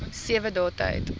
sewe dae tyd